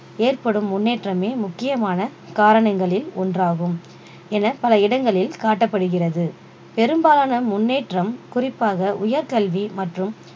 ஏற்படும் முன்னேற்றமே முக்கியமான காரணங்களில் ஒன்றாகும் என பல இடங்களில் காட்டப்படுகிறது பெரும்பாலான முன்னேற்றம் குறிப்பாக உயர் கல்வி மற்றும்